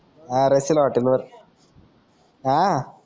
हा रशिला हॉटेलवर हा